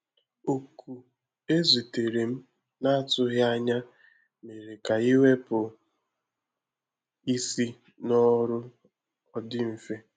Oku ezi tere m na-atụghị ànyà méérè ka iwepụ isi n’ọrụ ọ dị mfe.